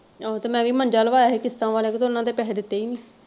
ਆਹੋ ਤੇ ਮੈਂ ਵੀ ਮੰਜਾ ਲਵਾਇਆ ਸੀ ਕਿਸ਼ਤਾਂ ਵਾਲੇ ਕੋ ਤੇ ਓਹਨਾ ਦੇ ਪੈਸੇ ਦਿੱਤੇ ਹੀ ਨਹੀਂ।